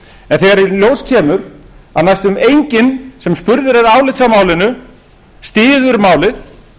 en þegar í ljós kemur að næstum enginn sem spurður er álits á málinu styður málið